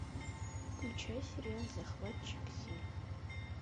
включай сериал захватчик зим